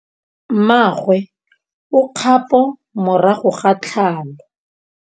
Mmagwe o kgapô morago ga tlhalô.